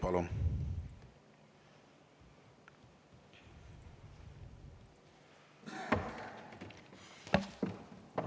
Palun!